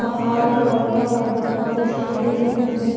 पहाड़ हई बड़का-बड़का जंगल-झाड़ी हई।